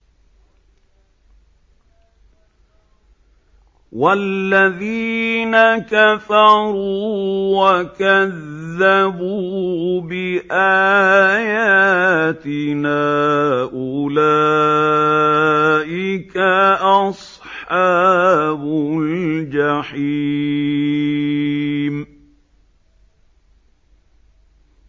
وَالَّذِينَ كَفَرُوا وَكَذَّبُوا بِآيَاتِنَا أُولَٰئِكَ أَصْحَابُ الْجَحِيمِ